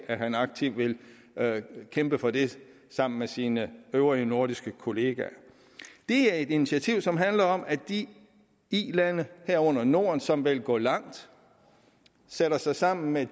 at han aktivt vil kæmpe for det sammen med sine øvrige nordiske kollegaer det er et initiativ som handler om at de ilande herunder norden som vil gå langt sætter sig sammen med